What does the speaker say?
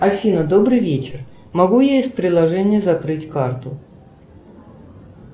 афина добрый вечер могу я из приложения закрыть карту